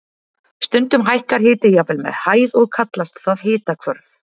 Stundum hækkar hiti jafnvel með hæð og kallast það hitahvörf.